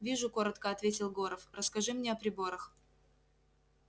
вижу коротко ответил горов расскажи мне о приборах